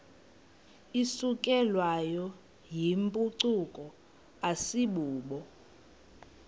isukelwayo yimpucuko asibubo